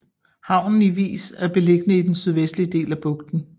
Havnen i Vis er beliggende i den sydvestlige del af bugten